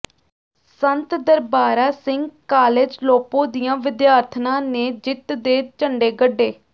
ਸੰਤ Darbara Singh college Lopo ਦੀਆਂ ਵਿਦਿਆਰਥਣਾਂ ਨੇ ਜਿੱਤ ਦੇ ਝੰਡੇ ਗੱਢੇ